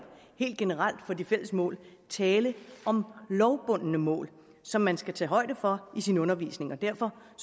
helt generelt for de fælles mål tale om lovbundne mål som man skal tage højde for i sin undervisning derfor